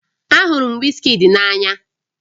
Ahụrụ m Wizkid n'anya